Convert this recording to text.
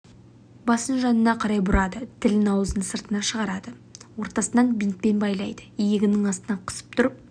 басын жанына қарай бұрады тілін ауыз сыртына шығарады ортасынан бинтпен байлайды иегінің астына қысып тұрып